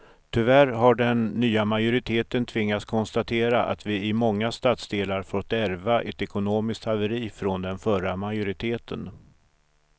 Tyvärr har den nya majoriteten tvingats konstatera att vi i många stadsdelar fått ärva ett ekonomiskt haveri från den förra majoriteten.